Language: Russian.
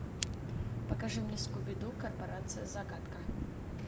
покажи мне скуби ду корпорация загадка